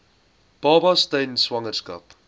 babas tydens swangerskap